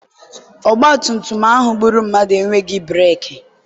ọgbatumtum ahụ gbụrụ mmadụ enweghị breeki.